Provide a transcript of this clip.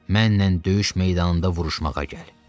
Mənnən döyüş meydanında vuruşmağa gəl.